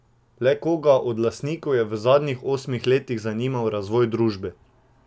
Le koga od lastnikov je v zadnjih osmih letih zanimal razvoj družbe?